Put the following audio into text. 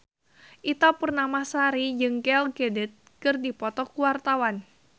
Ita Purnamasari jeung Gal Gadot keur dipoto ku wartawan